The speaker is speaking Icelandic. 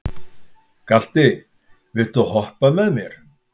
Galti, viltu hoppa með mér?